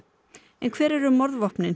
en hver eru